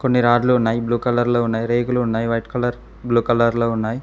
కొని రాడ్లు ఉన్నాయి బ్లూ కలర్ లో ఉన్నాయి రేకులు ఉన్నాయి వైట్ కలర్ బ్లూ కలర్ లో ఉన్నాయి.